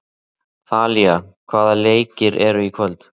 Þalía, hvaða leikir eru í kvöld?